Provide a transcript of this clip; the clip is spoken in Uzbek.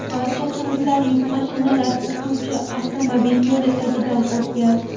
Barcha quvurlar yuk mashinalar o‘tuvchi avtomobil yo‘li tagidan o‘tgan.